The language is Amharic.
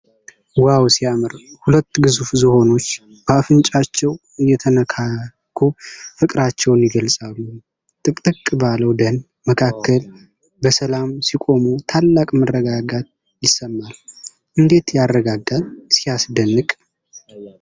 ዋው ሲያምር! ሁለት ግዙፍ ዝሆኖች በአፍንጫቸው እየተነካኩ ፍቅራቸውን ይገልፃሉ። ጥቅጥቅ ባለው ደን መካከል በሰላም ሲቆሙ፣ ታላቅ መረጋጋት ይሰማል። እንዴት ያረጋጋል! ሲያስደንቅ!